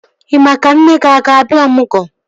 Ị maa ka nne gị ọ ga-abịa ọmụgwọ?